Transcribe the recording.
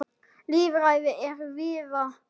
Lýðræði er víða í hættu.